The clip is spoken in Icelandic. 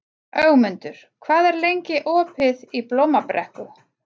Ögmundur, hvað er lengi opið í Blómabrekku?